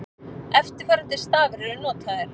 Eftirfarandi stafir eru notaðir: